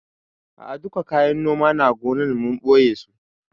A'a duka kayan noma na gonan, mun ɓoye su